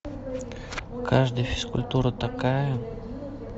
каждый физкультура такая